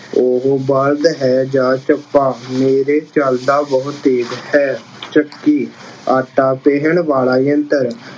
ਉਹ ਬਲਦ ਹੈ ਜਾਂ ਚੱਪਾ, ਮੇਰੇ ਚੱਲਦਾ ਬਹੁਤ ਤੇਜ਼ ਹੈ। ਚੱਕੀ- ਆਟਾ ਪੀਹਣ ਵਾਲਾ ਯੰਤਰ-